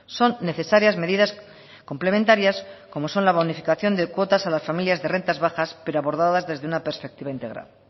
son necesarias medidas complementarias como son la bonificación de cuotas a las familias de rentas bajas pero abordadas desde una perspectiva integral